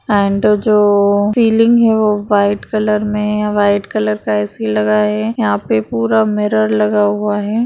And जो ceiling है वो वाइट कलर में वाइट कलर का ए.सी. लगा है यहाँ पर पुरा मिरर लगा हुआ है।